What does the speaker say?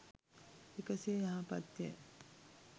එකසේ යහපත් ය.